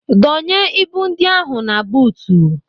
Dọnye ibu ndị ahụ na buutu!